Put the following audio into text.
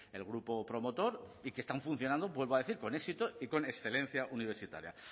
el grupo promotor y que están funcionando vuelvo a decir con éxito y con excelencia universitaria